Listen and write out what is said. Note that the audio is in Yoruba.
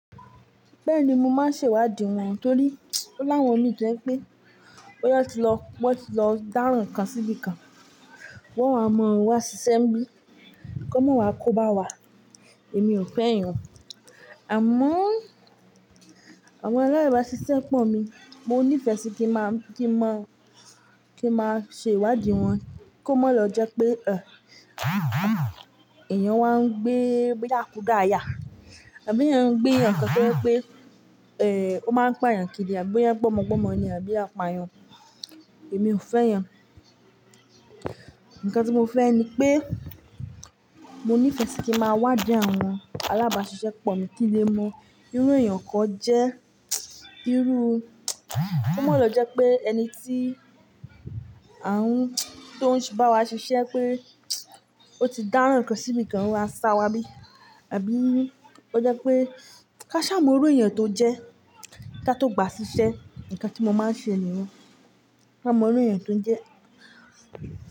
Bẹ́ẹ̀ni, mo máa ń ṣèwádìí wọn torí pé o láwọn mii to jẹ́ pé bóyá tí lọ, bóyá tí lọ dáràn kan síbí kan, wọ́n a mọ wá sí iṣẹ́ ńbí, kó mọ̀ wá kó bá wá, èmi ò fẹ́ èèyàn. Àmọ́ àwọn alábàásisẹ́pọ̀ mi, mo nífẹ̀ẹ́ sí kí má, kí n mọ, kí máa ṣe ìwádìí wọn kó mó lọ jẹ́ pé, ẹ́, èèyàn wá ń gbé, gbé yàkùda yà, àbí èèyàn ń gbé ǹkan tí wípé, ẹ́, ó máa ń pa èèyàn kiri, àbí ó ń gbómọgbómọ ni, àbí ó pa ẹyàn. Èmi ò fẹ́ ẹyàn. Ǹkan tí mo fẹ́ ni pé mo nífẹ̀ẹ́ sí kí máa wádìí àwọn alábàásisẹ́pọ̀ mi kí lè mọ irú èèyàn tan jẹ́, irú, kó mó lọ jẹ́ pé ẹni tí à ń, tó ń bá wa ṣiṣẹ́ pé ó ti dáràn nǹkan síbí kan wá sá wá bí, àbí ó jẹ́ pé ká ṣá mọ irú èèyàn tó jẹ́ ká tó gba ṣiṣẹ́, ǹkan tí mo máa ń ṣe nìyen. Ká mọ irú èèyàn tó ń jẹ́.